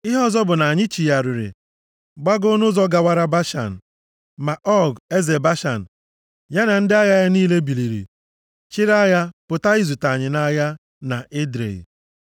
Ihe ọzọ bụ na anyị chigharịrị, gbagoo nʼụzọ gawara Bashan. Ma Ọg, eze Bashan, ya na ndị agha ya niile biliri chịrị agha pụta izute anyị nʼagha na Edrei.